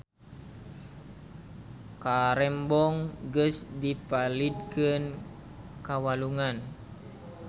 Karembong geus dipalidkeun ka walungan